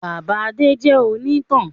Bàbá Adé jẹ òní ìtàn